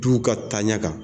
Duw ka taaɲɛ kan